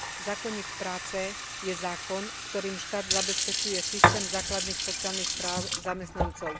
Zákonník práce je zákon, ktorým štát zabezpečuje systém základných sociálnych práv zamestnancov.